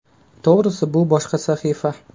To‘g‘risi, bu boshqa sahifa.